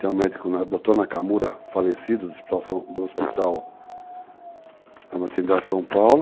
Tem um médico, doutor Nakamura, falecido, do Hospital da Maternidade de São Paulo.